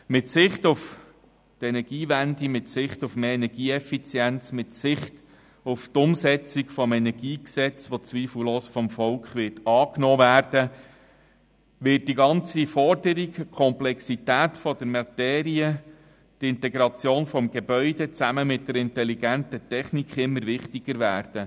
Im Hinblick auf die Energiewende, auf mehr Energieeffizienz und auf die Umsetzung des Energiegesetzes, das zweifelslos vom Volk angenommen werden wird, wird die ganze Forderung, Komplexität der Materie, die Integration von Gebäude zusammen mit intelligenter Technik immer wichtiger werden.